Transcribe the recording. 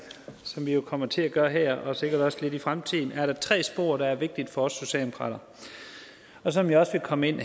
som vi jo kommer til at gøre her og sikkert også lidt i fremtiden er der tre spor der er vigtige for os socialdemokrater og som jeg også vil komme ind